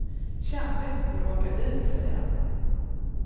Kände inte för att åka dit, säger han.